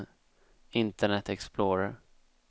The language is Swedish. internet explorer